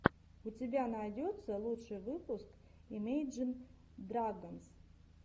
у тебя найдется лучший выпуск имейджин драгонс